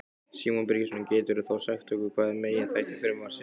Símon Birgisson: Geturðu þá sagt okkur hver eru meginþættir frumvarpsins?